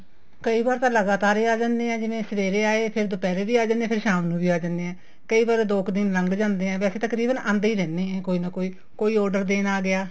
ਕਈ ਵਾਰ ਤਾਂ ਲਗਾਤਾਰ ਹੀ ਆ ਜਾਂਦੇ ਹੈ ਜੀ ਜਿਵੇਂ ਸਵੇਰੇ ਆਏ ਦੁਪਿਹਰੇ ਵੀ ਆ ਜਾਣੇ ਹੈ ਸ਼ਾਮ ਨੂੰ ਵੀ ਆ ਜਾਣੇ ਹੈ ਕਈ ਵਾਰ ਦੋ ਕ਼ ਦਿਨ ਲੱਗ ਜਾਂਦੇ ਹੈ ਵੈਸੇ ਤਾਂ ਤਕਰੀਬਨ ਆਂਦੇ ਹੀ ਰਹਿੰਦੇ ਹੈ ਕੋਈ ਨਾ ਕੋਈ ਕੋਈ order ਦੇਣ ਆ ਗਿਆ